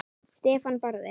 Stefán Barði.